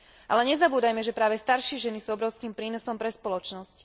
Ale nezabúdajme, že práve staršie ženy sú obrovským prínosom pre spoločnosť.